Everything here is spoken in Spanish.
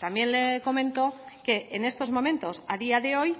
también le comento que en estos momentos a día de hoy